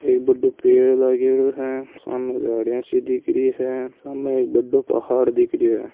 एक बड़ो पेड़ लागेड़ो है सामे झाड़िया सी दिख री है सामे एक बड़ो पहाड़ दिख रियो हैं।